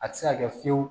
A tɛ se ka kɛ fiyewu